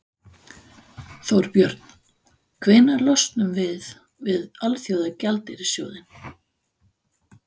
Þorbjörn: Hvenær losnum við við Alþjóðagjaldeyrissjóðinn?